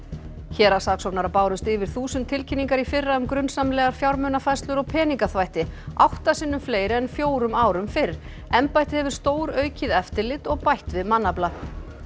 héraðssaksóknara bárust yfir þúsund tilkynningar í fyrra um grunsamlegar fjármunafærslur og peningaþvætti átta sinnum fleiri en fjórum árum fyrr embættið hefur stóraukið eftirlit og bætt við mannafla